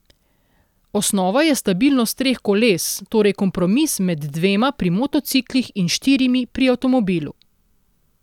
Osnova je stabilnost treh koles, torej kompromis med dvema pri motociklih in štirimi pri avtomobilu.